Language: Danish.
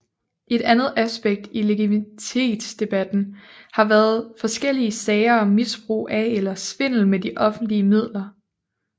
Et andet aspekt i legitimitetsdebatten har været forskellige sager om misbrug af eller svindel med offentlige midler